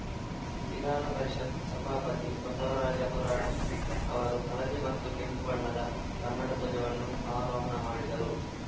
ವಿಧಾನ ಪರಿಷತ್‌ ಸಭಾಪತಿ ಬಸವರಾಜ ಹೊರಾಟಿ ಅವರು ಹಳದಿ ಮತ್ತು ಕೆಂಪು ಬಣ್ಣದ ಕನ್ನಡ ಧ್ವಜವನ್ನು ಆರೋಹಣ ಮಾಡಿದರು